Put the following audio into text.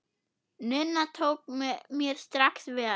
Nunna tók mér strax vel.